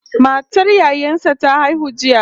Matar yayan sa ta haihu jiya